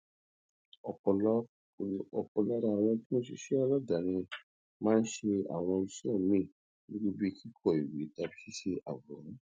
òpò lára àwọn tó ń ṣiṣé aládàáni máa ń ṣe àwọn iṣé míì irú bíi kíkọ ìwé tàbí ṣíṣe àwòrán